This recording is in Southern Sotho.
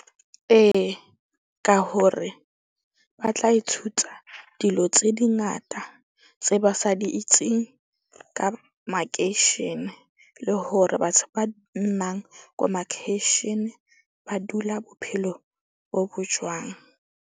Ee, ka hore ba tla ithuta dilo tse di ngata tse ba sa di itseng, ka makeishene le hore batho ba lemang ko makeishene ba dula bophelo bo bo jwang?